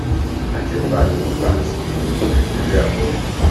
àjẹbánu ò bá ti dojú nàìjíríà bọlẹ